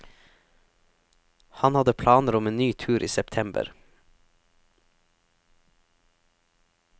Han hadde planer om en ny tur i september.